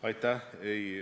Aitäh!